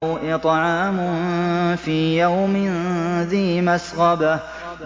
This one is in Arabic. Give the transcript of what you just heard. أَوْ إِطْعَامٌ فِي يَوْمٍ ذِي مَسْغَبَةٍ